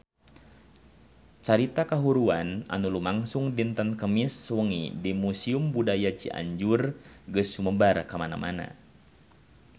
Carita kahuruan anu lumangsung dinten Kemis wengi di Museum Budaya Cianjur geus sumebar kamana-mana